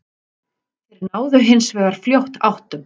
Þeir náðu hins vegar fljótt áttum